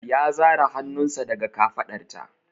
Ya zare hannunsa daga kafaɗarta.